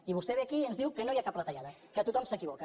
i vostè ve aquí i ens diu que no hi ha cap retallada que tothom s’equivoca